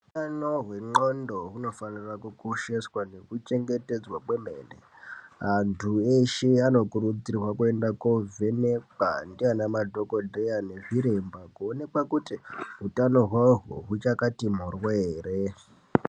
Ano wendxondo hunafanire kukosheswa nekuchengetedzwa kwemene antu eshe anokuridzirwa kuenda kovhenekwa ndiana madhokodheya nezviremba kuonekwa kuti utano hwawohwo huchakati morwo ere.